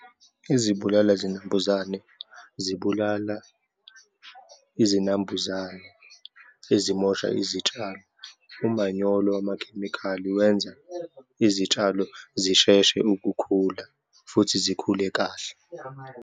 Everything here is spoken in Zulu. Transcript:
Izibulala zinambuzane, zibulala izinambuzane ezamosha izitshalo. Umanyolo wamakhemikhali wenza izitshalo zisheshe ukukhula, futhi zikhule kahle.